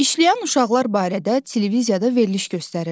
İşləyən uşaqlar barədə televiziyada veriliş göstərirdilər.